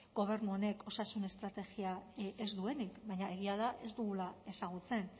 gobernu honek osasun estrategia ez duenik baina egia da ez dugula ezagutzen